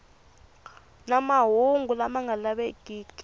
na mahungu lama nga lavekeki